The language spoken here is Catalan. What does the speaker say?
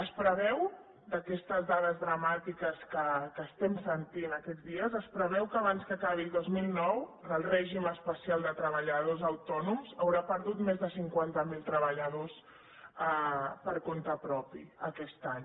es preveu d’aquestes dades dramàtiques que estem sentint aquests dies que abans que acabi el dos mil nou el règim especial de treballadors autònoms haurà perdut més de cinquanta mil treballadors per compte propi aquest any